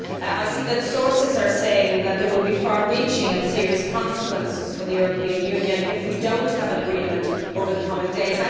I see that sources are saying that there would be far reaching and serious consequences for the European Union if we do not have an agreement over the coming days.